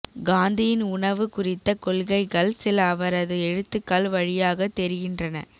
காந்தியின் உணவு குறித்த கொள்கைகள் சில அவரது எழுத்துக்கள் வழியாக தெரிகின்றன